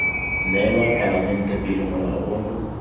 neelwa palamente pele molao ono